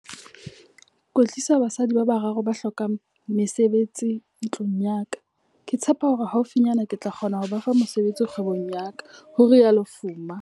Kwetlisa basadi ba bararo ba hlokang mesebetsi ntlung ya ka. Ke tshepa hore haufinyana ke tla kgona ho ba fa mosebetsi kgwebong ya ka, ho rialo Fuma.